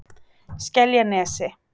Skeljanesi